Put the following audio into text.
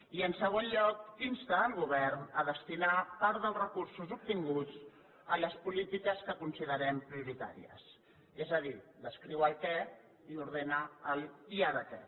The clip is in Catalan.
i en segon lloc insta el govern a destinar part dels recursos obtinguts a les polítiques que considerem prioritàries és a dir descriu el què i ordena l’ i ara què